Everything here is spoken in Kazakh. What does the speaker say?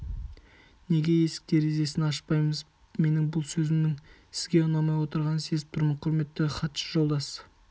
неге есік-терезесін ашпаймыз менің бұл сөзімнің сізге ұнамай отырғанын сезіп тұрмын құрметті хатшы жолдас